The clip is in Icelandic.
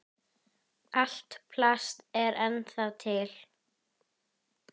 Allt plast er ennþá til.